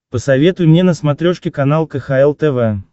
посоветуй мне на смотрешке канал кхл тв